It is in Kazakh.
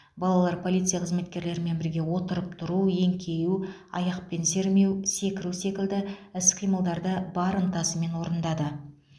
балалар полиция қызметкерлерімен бірге отырып тұру еңкею аяқпен сермеу секіру секілді іс қимылдарды бар ынтасымен орындады